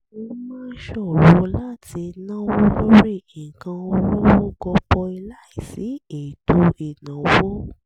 ó máa ń ṣòro láti náwó lórí nǹkan olówó gọbọi láìsí ètò ìnáwó